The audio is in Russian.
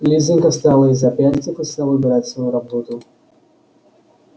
лизанька встала из-за пяльцев и стала убирать свою работу